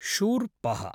शूर्पः